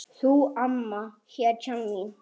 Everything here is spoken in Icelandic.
Þú amma, hetjan mín.